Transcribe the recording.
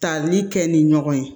Tali kɛ ni ɲɔgɔn ye